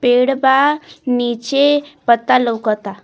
पेड़ बा नीचे पत्ता लउकता।